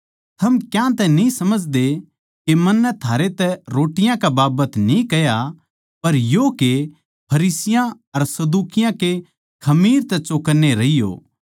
थम क्यांतै न्ही समझदे के मन्नै थारै तै रोटियाँ कै बाबत न्ही कह्या पर यो के फरिसियाँ अर सदूकियाँ के खमीर तै चौकन्ने रहियो